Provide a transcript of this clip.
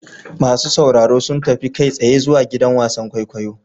Masu sauraro sun tafi kai tsaye zuwa gidan wasan kwaikwayo.